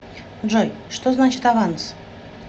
джой что значит аванс